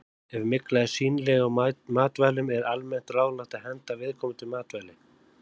Ef mygla er sýnileg á matvælum er almennt ráðlagt að henda viðkomandi matvæli.